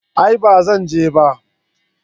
a'a ba zan je ba